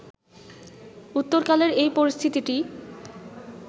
উত্তরকালের এই পরিস্থিতিটি